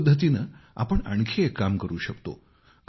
याच पद्धतीने आपण आणखी एक काम करू शकतो